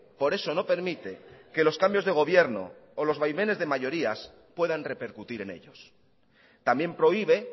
por eso no permite que los cambios de gobierno o los vaivenes de mayorías puedan repercutir en ellos también prohíbe